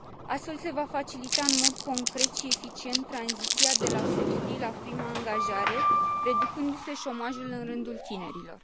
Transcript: Astfel, se va facilita în mod concret și eficient tranziția de la studii la prima angajare, reducându se șomajul în rândul tinerilor.